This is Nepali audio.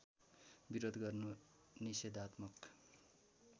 विरोध गर्नु निषेधात्मक